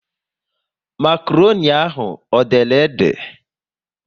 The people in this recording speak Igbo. Makroni ahụ ọ dere ede?